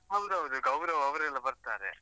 ಹೌದೌದು, ಗೌರವ್‌ ಅವ್ರೆಲ್ಲ ಬರ್ತಾರೆ.